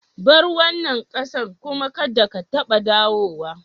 Bar wanan kasan kuma kadda ka taba dawowa!